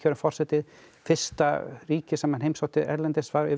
forseti fyrsta ríkið sem hann heimsótti erlendis var